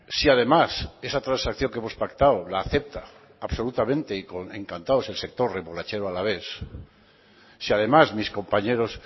si además esa transacción que hemos pactado la acepta absolutamente y encantados el sector remolachero alavés si además mis compañeros